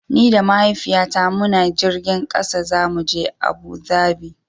Ni da Mahaifiyata muna jirgin ƙasa zamu je Abu Dhabi.